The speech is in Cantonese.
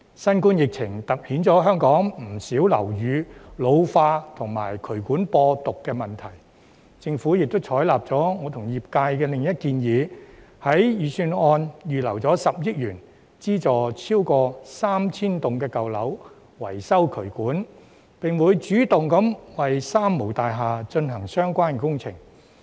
新冠疫情凸顯香港不少樓宇老化及渠管播毒的問題，政府亦採納了我與業界的另一項建議，在預算案預留10億元，資助超過 3,000 幢舊樓維修渠管，並會主動為"三無大廈"進行相關工程。